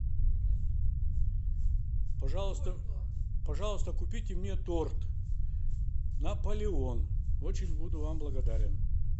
пожалуйста пожалуйста купите мне торт наполеон очень буду вам благодарен